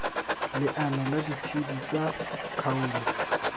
leano la ditshedi tsa kgaolo